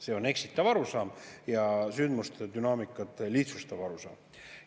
See on eksitav arusaam ja sündmuste dünaamikat lihtsustav arusaam.